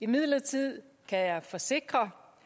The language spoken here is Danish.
imidlertid kan jeg forsikre